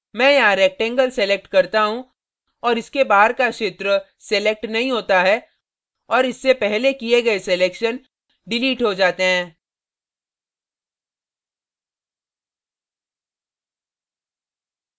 मैं यहाँ rectangle select करता हूँ और इसके बाहर का क्षेत्र select नहीं होता है और इससे पहले किये गए selections डिलीट हो जाते हैं